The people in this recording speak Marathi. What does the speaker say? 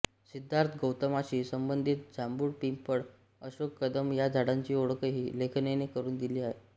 सिद्धार्थ गौतमाशी संबंधित जांभूळ पिंपळ अशोक कदंब या झाडांची ओळखही लेखिकेने करून दिली आहे